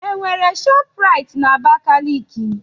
Enwere ShopRite na Abakaliki?